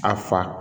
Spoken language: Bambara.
A fa